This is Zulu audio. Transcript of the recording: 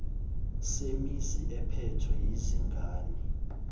semizi ephethwe yizingane